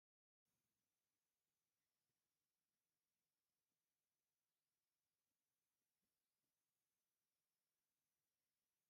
እዚ ናይ ኣትክልቲ ውፅኢት ኮይኑ ሻምቦ ይባሃል ። እዚ ድማ ንደቂ ኣነስትዮ ይኩን ንደቂ ተባዕትዮ ንመሕፀቢ ፀጉሪ እንጥቀመሉ ሻምቦ እዩ ።